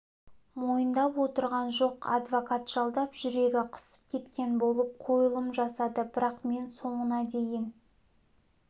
мойындап отырған жоқ адвокат жалдап жүрегі қысып кеткен болып қойылым жасады бірақ мен соңына дейін